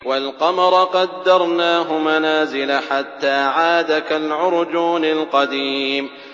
وَالْقَمَرَ قَدَّرْنَاهُ مَنَازِلَ حَتَّىٰ عَادَ كَالْعُرْجُونِ الْقَدِيمِ